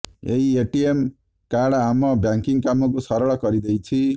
ଏହି ATM card ଆମ banking କାମକୁ ସରଳ କରିଦେଇଛି